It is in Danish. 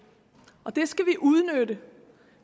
det skal vi udnytte